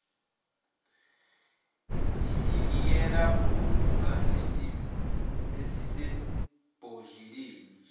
isivikela kuguga esisebhodleleni